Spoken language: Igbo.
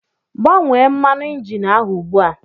Gbanwee mmanụ injin ahụ ugbu a!